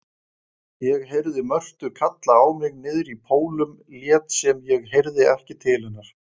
Ég heyrði Mörtu kalla á mig niðrí Pólum lét sem ég heyrði ekki til hennar.